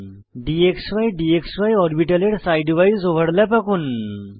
dxy d x y অরবিটালের side wise overlap আঁকুন